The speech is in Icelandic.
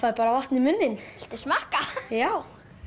vatn í munninn viltu smakka já